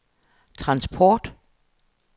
transport